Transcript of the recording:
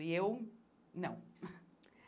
E eu, não.